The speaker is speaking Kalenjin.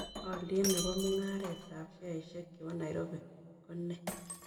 Olyet ne po mung'aretab sheaishiek chebo nairobi ko nee